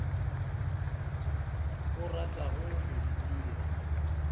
o ratago go di dira